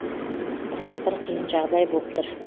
бірақ бір қиын жағдай боп тұр